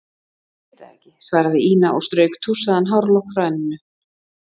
Ég veit það ekki, svaraði Ína og strauk tússaðan hárlokk frá enninu.